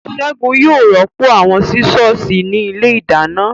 Ségun yóò rọ́pò àwọn Sísọ̀sì ní ilé ìdáná